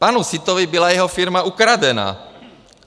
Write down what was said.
Panu Sittovi byla jeho firma ukradena.